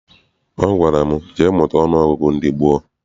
Ọ gwara m, jee mụta ọnụọgụgụ ndị gboo!